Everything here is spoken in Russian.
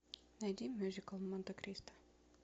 найди мюзикл монте кристо